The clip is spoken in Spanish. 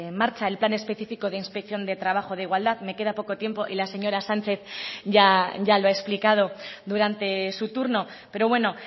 marcha el plan específico de inspección de trabajo de igualdad me queda poco tiempo y la señora sánchez ya lo ha explicado durante su turno pero bueno